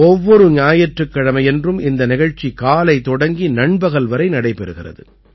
ஒவ்வொரு ஞாயிற்றுக்கிழமையன்றும் இந்த நிகழ்ச்சி காலை தொடங்கி நண்பகல் வரை நடைபெறுகிறது